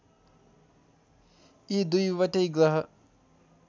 यी दुईवटै ग्रह